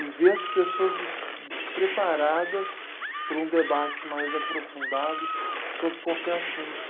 E ver as pessoas des, despreparadas para um debate mais aprofundado sobre qualquer assunto.